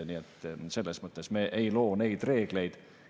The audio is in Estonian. Nii et selles mõttes me ei loo neid reegleid.